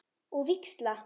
Og víxla?